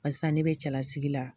Barisa ne be cɛlasigi la